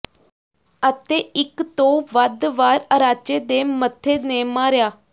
ਅਤੇ ਇੱਕ ਤੋਂ ਵੱਧ ਵਾਰ ਅਰਾਚੇ ਦੇ ਮੱਥੇ ਨੇ ਮਾਰਿਆ